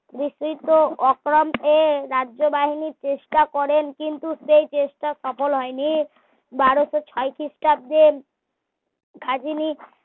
বিস্তৃত রাজ্য বাহিনী চেষ্টা করেন কিন্তু সেই চেষ্টা সফল হয়নি বারোসো ছয় খ্রিস্টাব্দে খাজিনী